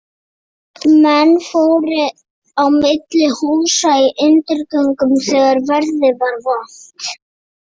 Menn fóru á milli húsa í undirgöngunum þegar veðrið var vont.